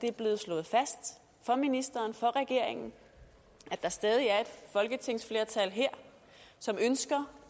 er blevet slået fast for ministeren for regeringen at der stadig er et folketingsflertal her som ønsker